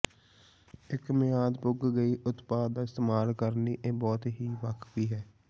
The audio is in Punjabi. ਇੱਕ ਮਿਆਦ ਪੁੱਗ ਗਈ ਉਤਪਾਦ ਦਾ ਇਸਤੇਮਾਲ ਕਰਨ ਲਈ ਇਹ ਬਹੁਤ ਹੀ ਵਾਕਫੀ ਹੈ